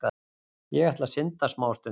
Ég ætla að synda smástund.